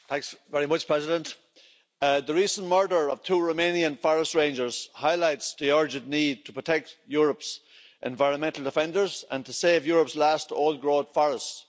Mr President, the recent murder of two Romanian forest rangers highlights the urgent need to protect Europe's environmental defenders and to save Europe's last old-growth forests.